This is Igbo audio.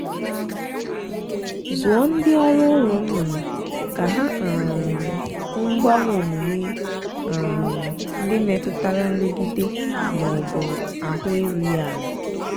zụọ ndị ọrụ ulo nnụnụ ka ha um hụ mgbanwe omume um ndị metụtara nrụgide ma ọ bụ ahụ erughị ala.